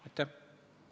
Kalle Grünthal, palun!